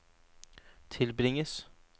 tilbringes